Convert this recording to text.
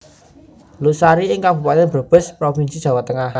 Losari ing Kabupaten Brebes Provinsi Jawa Tengah